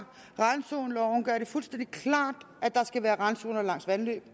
randzoneloven gør det fuldstændig klart at der skal være randzoner langs vandløb